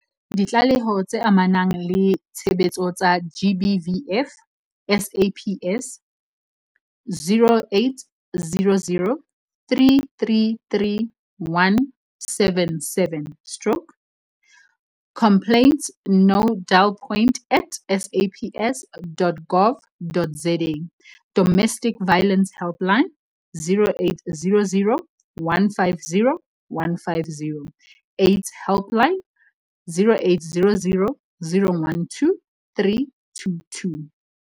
Ditlaleho tse amanang le tshebetso tsa GBVF, SAPS- 0800 333 177 stroke complaintsnodalpoint at saps.gov.za Domestic Violence Helpline- 0800 150 150. AIDS Helpline- 0800 012 322.